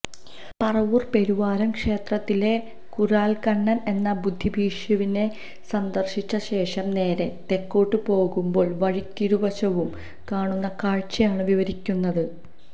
പറവൂർ പെരുവാരം ക്ഷേത്രത്തിലെ കുരാൽക്കണ്ണർ എന്ന ബുദ്ധഭിക്ഷുവിനെ സന്ദർശിച്ചശേഷം നേരെ തെക്കോട്ടു പോകുമ്പോൾ വഴിക്കിരുവശവും കാണുന്ന കാഴ്ചയാണ് വിവരിച്ചിരിക്കുന്നത്